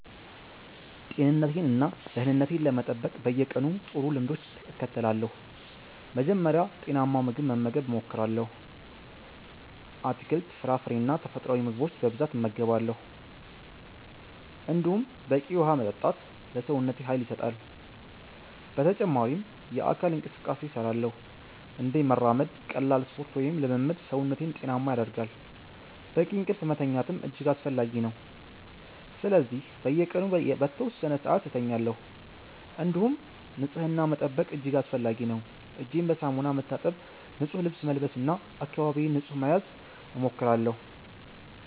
ጤንነቴን እና ደህንነቴን ለመጠበቅ በየቀኑ ጥሩ ልምዶችን እከተላለሁ። መጀመሪያ ጤናማ ምግብ መመገብ እሞክራለሁ፤ አትክልት፣ ፍራፍሬ እና ተፈጥሯዊ ምግቦች በብዛት እመገባለሁ። እንዲሁም በቂ ውሃ መጠጣት ለሰውነቴ ኃይል ይሰጣል። በተጨማሪም የአካል እንቅስቃሴ እሰራለሁ፤ እንደ መራመድ፣ ቀላል ስፖርት ወይም ልምምድ ሰውነቴን ጤናማ ያደርጋል። በቂ እንቅልፍ መተኛትም እጅግ አስፈላጊ ነው፤ ስለዚህ በየቀኑ በተወሰነ ሰዓት እተኛለሁ። እንዲሁም ንጽህና መጠበቅ እጅግ አስፈላጊ ነው፤ እጄን በሳሙና መታጠብ፣ ንጹህ ልብስ መልበስ እና አካባቢዬን ንጹህ መያዝ እሞክራለሁ።